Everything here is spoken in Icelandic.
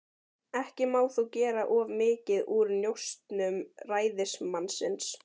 Ekki má þó gera of mikið úr njósnum ræðismannsins.